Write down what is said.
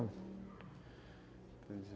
Entendi.